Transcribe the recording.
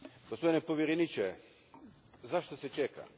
Gospodine povjereniče, zašto se čeka?